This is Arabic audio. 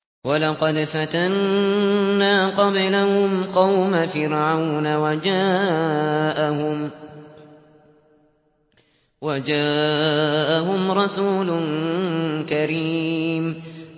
۞ وَلَقَدْ فَتَنَّا قَبْلَهُمْ قَوْمَ فِرْعَوْنَ وَجَاءَهُمْ رَسُولٌ كَرِيمٌ